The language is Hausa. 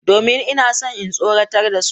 Domin ina so in tsoratar da su.